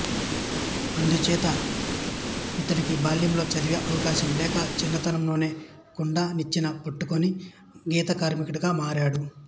అందు చేత ఇతడికి బాల్యంలో చదివే అవకాశం లేక చిన్నతనంలోనే కుండ నిచ్చెన పట్టుకుని గీతకార్మికుడిగా మారాడు